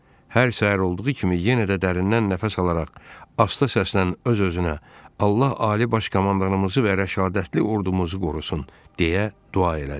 Hər səhər olduğu kimi yenə də dərindən nəfəs alaraq, asta səslə öz-özünə: “Allah ali baş komandanımızı və rəşadətli ordumuzu qorusun!” deyə dua elədi.